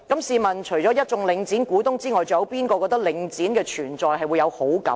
試問除了一眾領展的股東外，還有誰會對領展的存在感到高興呢？